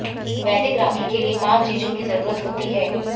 वैदिक राखी के लिए पांच चीजों की जरूरत होती है